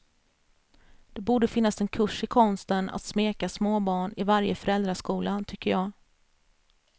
Det borde finnas en kurs i konsten att smeka småbarn i varje föräldraskola tycker jag.